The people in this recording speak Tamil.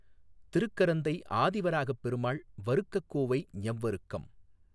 திருக்கரந்தை ஆதிவராகப் பெருமாள் வருக்கக்கோவை ஞவ்வருக்கம்